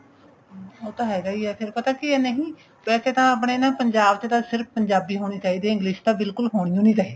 ਹਮ ਉਹ ਤਾਂ ਹੈਗਾ ਈ ਏ ਫ਼ਿਰ ਪਤਾ ਏ ਕੀ ਏ ਨਹੀਂ ਵੈਸੇ ਤਾਂ ਆਪਣੇ ਨਾ ਪੰਜਾਬ ਚ ਤਾਂ ਪੰਜਾਬੀ ਹੋਣੀ ਚਾਹੀਦੀ ਏ English ਤਾਂ ਬਿਲਕੁਲ ਹੋਣੀ ਓ ਨਹੀਂ ਚਾਹੀਦੀ